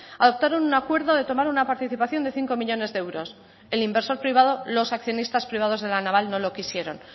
adoptaron un acuerdo de tomar una participación de cinco millónes de euros el inversor privado los accionistas privados de la naval no lo quisieron